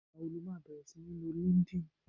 igba wo lo ma bèrè sini lò linkedin